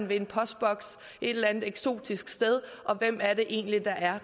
ved en postboks et eller andet eksotisk sted og hvem er det egentlig der er